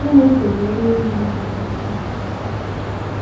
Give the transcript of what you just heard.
Chínèké bụ onye mere gị ihe ọhùrù.